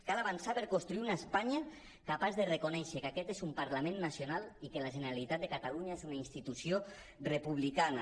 cal avançar per construir una espanya capaç de reconèixer que aquest és un parlament nacional i que la generalitat de catalunya és una institució republicana